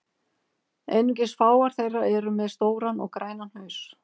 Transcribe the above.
Einungis fáar þeirra eru með stóran og grænan haus.